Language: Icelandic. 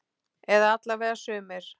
Eða alla vega sumir.